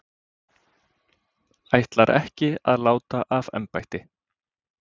Ætlar ekki að láta af embætti